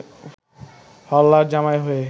হাল্লার জামাই হয়ে